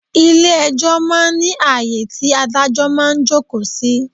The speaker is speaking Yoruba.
Ilẹ̀ ẹjọ́ máa ń ní ayé tí Ádájọ́ máa ń jókòó sí.